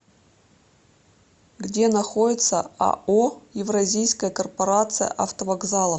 где находится ао евразийская корпорация автовокзалов